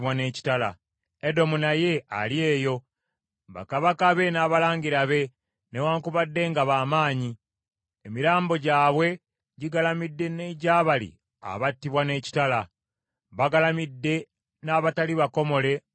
“Edomu naye ali eyo, bakabaka be n’abalangira be, newaakubadde nga baamaanyi, emirambo gyabwe gigalamidde n’egya bali abattibwa n’ekitala. Bagalamidde n’abatali bakomole mu bunnya.